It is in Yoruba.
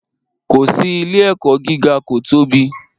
Ko si, ile-ẹkọ giga ko tobi